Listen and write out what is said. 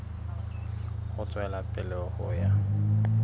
ho tswela pele ho ya